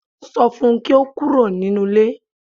Sọ fun kí ó kúrò nínú ilé